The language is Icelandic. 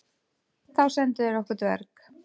Þá sendu þeir okkur dverg.